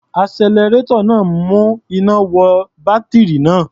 Alternator náà ń mú iná wọ bátírì náà.